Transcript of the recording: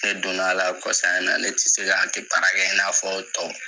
Ne donna la kosan in na ne tɛ se ka haki baara ke in n'a fɔ tɔ.